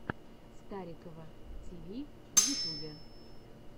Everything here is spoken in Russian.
старикова ти ви в ютубе